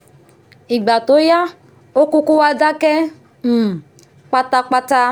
ìgbà tó yá ó kúkú wá dákẹ́ um pátápátá